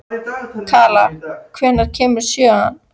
Kala, hvenær kemur sjöan?